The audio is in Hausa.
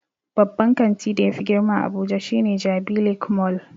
Babban kanti da yafi girma a abuja shine jabi lake mall